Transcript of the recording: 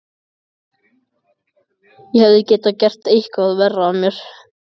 Ég hefði getað gert eitthvað verra af mér.